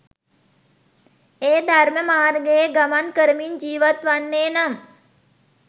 ඒ ධර්ම මාර්ගයේ ගමන් කරමින් ජීවත්වන්නේ නම්